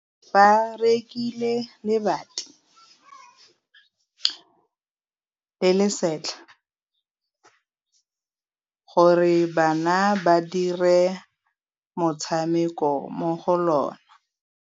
Ba rekile lebati le le setlha gore bana ba dire motshameko mo go lona.